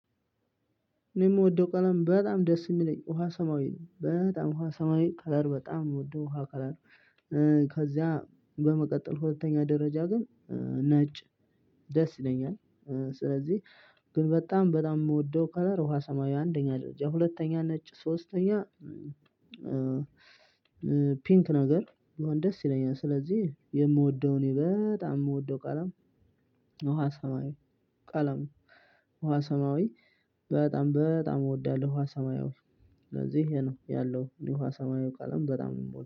እኔ የምወደው ቀለም በጣም ደስ የሚለኝ ውሃ ሰማያዊ ነው በጣም ውሃ ሰማያዊ ከለር በጣም የምወደው ውሃ ከለር። ከዚያ በመቀጠል ሁለተኛ ደረጃ ግን ነጭ ደስ ይለኛል። ስለዚህ ግን በጣም በጣም የምወደው ከለር ውሃ ሰማያዊ አንደኛ ደረጃ ሁለተኛ ነጭ ሶስተኛ። ፒንክ ነገር ቢሆን ደስ ይለኛል። ስለዚህ የምወደው እኔ በጣም የምወደው ቀለም። ውሃ ሰማያዊ ቀለም ውሃ ሰማያዊ በጣም በጣም እወዳለሁ። ውሃ ሰማያው ስለዚህ ይሄ ነው ያለው እኔ ውሃ ሰማያዊ ቀለም በጣም ነው የምወደው